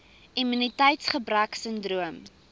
immuniteits gebrek sindroom